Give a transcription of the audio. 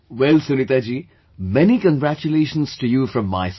Well Sunita ji, many congratulations to you from my side